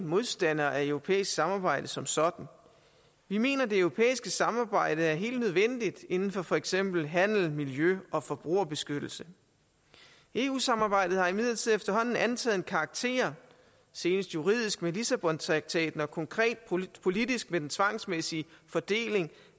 modstander af europæisk samarbejde som sådan vi mener det europæiske samarbejde er helt nødvendigt inden for for eksempel handel miljø og forbrugerbeskyttelse eu samarbejdet har imidlertid efterhånden antaget en karakter senest juridisk med lissabontraktaten og konkret politisk med den tvangsmæssige fordeling